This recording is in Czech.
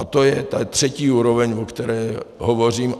A to je ta třetí úroveň, o které hovořím.